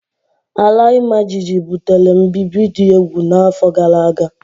Ala imajiji butere mbibi dị egwu n'afọ gara aga.